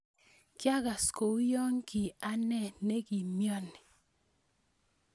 Kiagas kou yo ki anee ne kiamioni.